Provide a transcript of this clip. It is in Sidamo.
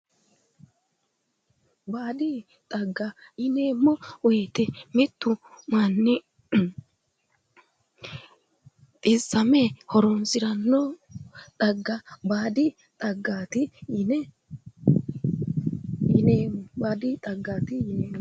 baadi xagga yineemmowoyite mittu manni xissame horoonsiranno xagga baadi xaggaati yineemmo.